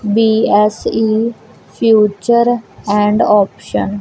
BSE future and option.